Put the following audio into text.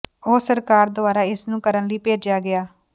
ਉਹ ਸਰਕਾਰ ਦੁਆਰਾ ਇਸ ਨੂੰ ਕਰਨ ਲਈ ਭੇਜਿਆ ਗਿਆ